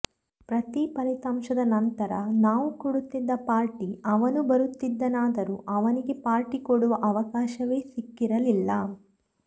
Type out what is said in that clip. ಪ್ರತೀ ಫಲಿತಾಂಶದ ನಂತರ ನಾವು ಕೊಡುತ್ತಿದ್ದ ಪಾರ್ಟಿ ಅವನು ಬರುತ್ತಿದ್ದನಾದರೂ ಅವನಿಗೆ ಪಾರ್ಟಿ ಕೊಡುವ ಅವಕಾಶವೇ ಸಿಕ್ಕಿರಲಿಲ್ಲ